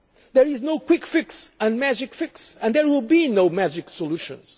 progress. There is no quick fix, no magic fix and there will be no magic solutions.